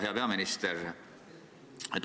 Hea peaminister!